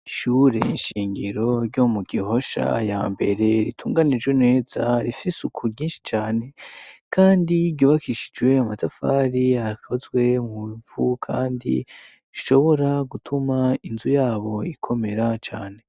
Ishure inshingiro ryo mu gihosha ya mbere ritunganijwe neza rifise uku ryinshi cane, kandi igobakishijwe amatafari akozwe mu bivu, kandi rishobora gutuma inzu yabo ikomera cane.